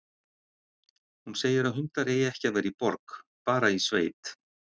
Hún segir að hundar eigi ekki að vera í borg, bara í sveit.